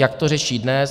Jak to řeší dnes?